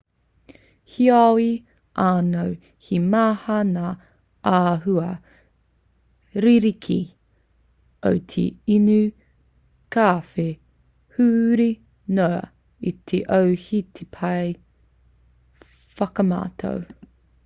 heoi anō he maha ngā āhua rerekē o te inu kawhe huri noa i te ao he pai te whakamātau